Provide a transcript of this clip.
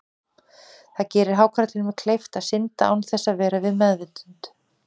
Það gerir hákarlinum kleift að synda án þess að vera við meðvitund.